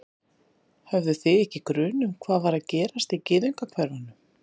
Höfðuð þið ekki grun um hvað var að gerast í gyðingahverfunum?